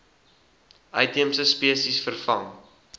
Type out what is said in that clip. uitheemse spesies vervang